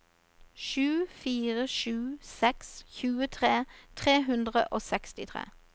sju fire sju seks tjuetre tre hundre og sekstitre